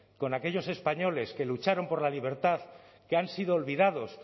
con aquellos españoles que lucharon por la libertad que han sido olvidados